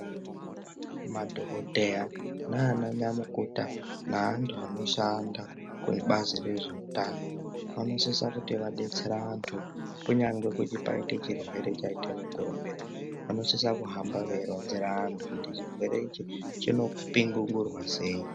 Madhokodheya nananyamukuta naanhu anoshanda kubazi rezveutano vanosisa kuti vadetsere antu kunyangwe kuti paite chirwere chaite mukurumbira vanosisa kuhamba veironzera vantu kuti chirwere ichi chinopiningurwa sei.